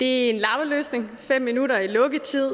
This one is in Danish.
en lappeløsning fem minutter i lukketid